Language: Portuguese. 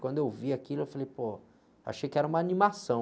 Quando eu vi aquilo, eu falei, pô, achei que era uma animação.